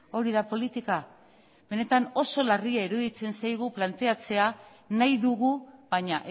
hori da politika benetan oso larria iruditzen zaigu planteatzea nahi dugu baina